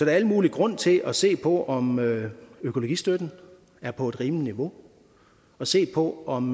er al mulig grund til at se på om økologistøtten er på et rimeligt niveau og se på om